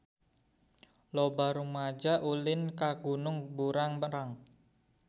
Loba rumaja ulin ka Gunung Burangrang